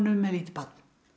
með lítið barn